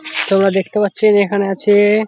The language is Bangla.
তোমরা দেখতে পাচ্ছ এরা এখানে আছে-এ --